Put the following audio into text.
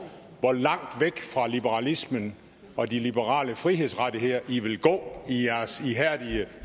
hvor langt væk fra liberalismen og de liberale frihedsrettigheder i vil gå i jeres ihærdige